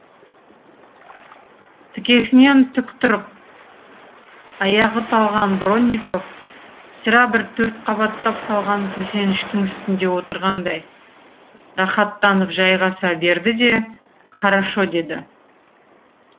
тікесінен тік тұрып аяғы талған бронников сірә бір төрт қабаттап салған төсеніштің үстіне отырғандай рахаттанып жайғаса берді де хорошо деді